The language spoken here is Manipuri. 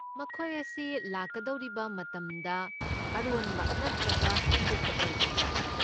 ꯃꯈꯣꯏ ꯑꯁꯤ ꯂꯥꯛꯀꯗꯧꯔꯤꯕ ꯃꯇꯝꯗ ꯑꯔꯣꯟꯕ ꯅꯠꯇ꯭ꯔꯒ ꯐꯣꯡꯗꯣꯛꯄ ꯑꯣꯏꯒꯗ꯭ꯔꯥ?